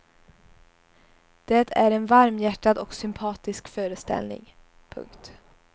Det är en varmhjärtad och sympatisk föreställning. punkt